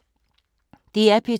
DR P2